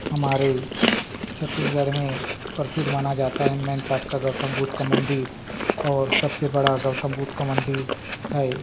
हमारे छत्तीसगढ़ में परसिध माना जाता है मैनपाट का गौतम बुद्ध का मंदिर और सबसे बड़ा गौतम बुद्ध का मंदिर हैं ।